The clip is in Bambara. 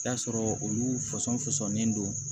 I bi taa sɔrɔ olu fɔsɔn fɔsɔnnen don